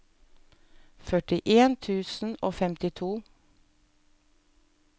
førtien tusen og femtito